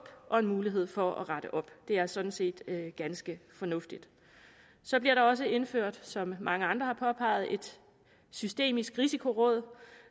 og en mulighed for at rette op det er sådan set ganske fornuftigt så bliver der også indført som mange andre har påpeget et systemisk risikoråd